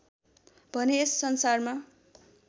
भने यस संसारमा